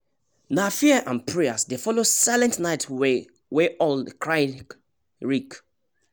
nah fear and prayers dey follow silent night wey owl cry nreak